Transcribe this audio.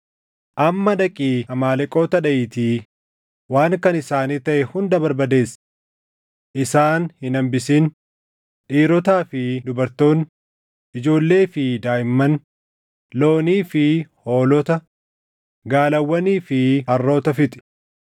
Amma dhaqii Amaaleqoota dhaʼiitii waan kan isaanii taʼe hunda barbadeessi. Isaan hin hambisin; dhiirotaa fi dubartoonni, ijoollee fi daaʼimman, loonii fi hoolota, gaalawwanii fi harroota fixi.’ ”